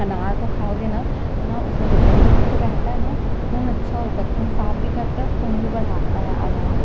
अनार को खाओगे न तो न जो उसमे खून जो रहता है न खून अच्छा होता है और खून साफ़ भी करता है खून बढ़ाता भी है अनार--